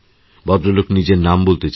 ভদ্রলোক নিজের নাম বলতেচাননি